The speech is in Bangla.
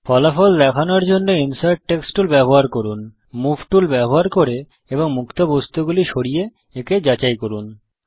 ফলাফল দেখানোর জন্য ইনসার্ট টেক্সট টুল ব্যবহার করুন মুভ টুল ব্যবহার করে এবং মুক্ত বস্তুগুলি সরিয়ে একে যাচাই করুন